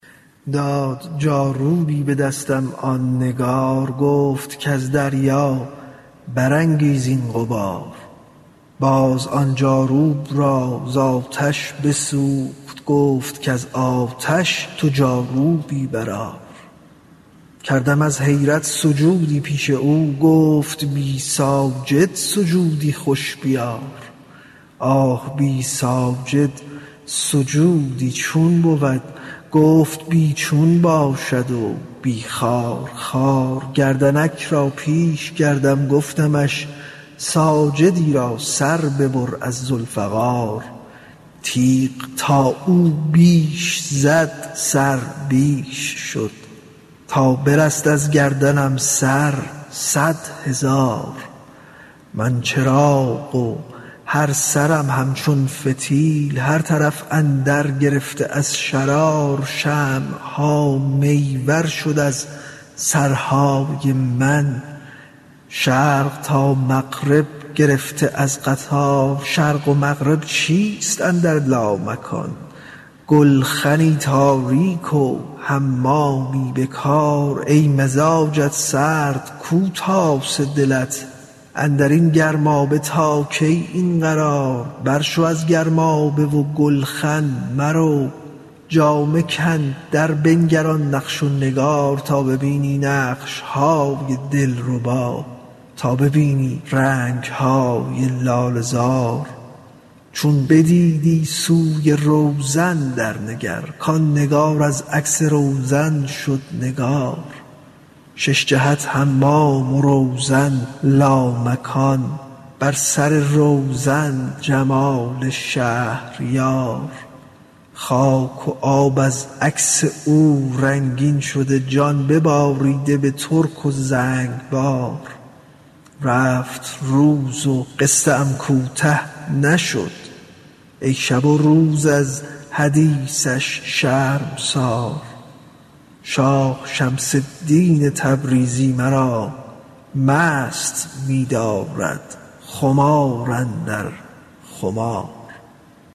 داد جاروبی به دستم آن نگار گفت کز دریا برانگیزان غبار باز آن جاروب را ز آتش بسوخت گفت کز آتش تو جاروبی برآر کردم از حیرت سجودی پیش او گفت بی ساجد سجودی خوش بیار آه بی ساجد سجودی چون بود گفت بی چون باشد و بی خارخار گردنک را پیش کردم گفتمش ساجدی را سر ببر از ذوالفقار تیغ تا او بیش زد سر بیش شد تا برست از گردنم سر صد هزار من چراغ و هر سرم همچون فتیل هر طرف اندر گرفته از شرار شمع ها می ورشد از سرهای من شرق تا مغرب گرفته از قطار شرق و مغرب چیست اندر لامکان گلخنی تاریک و حمامی به کار ای مزاجت سرد کو تاسه دلت اندر این گرمابه تا کی این قرار برشو از گرمابه و گلخن مرو جامه کن دربنگر آن نقش و نگار تا ببینی نقش های دلربا تا ببینی رنگ های لاله زار چون بدیدی سوی روزن درنگر کان نگار از عکس روزن شد نگار شش جهت حمام و روزن لامکان بر سر روزن جمال شهریار خاک و آب از عکس او رنگین شده جان بباریده به ترک و زنگبار روز رفت و قصه ام کوته نشد ای شب و روز از حدیثش شرمسار شاه شمس الدین تبریزی مرا مست می دارد خمار اندر خمار